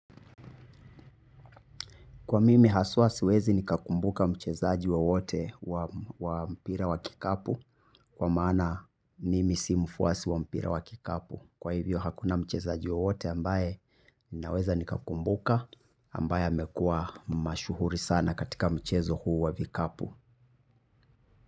Kwa mimi haswa siwezi nikakumbuka mchezaji wowote wa mpira wa kikapu kwa maana mimi si mfuwasi wa mpira wa kikapu. Kwa hivyo hakuna mchezaji wowote ambaye ninaweza nikakumbuka ambaye amekuwa mashuhuri sana katika mchezo huu wa vikapu.